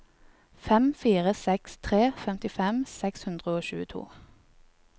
fem fire seks tre femtifem seks hundre og tjueto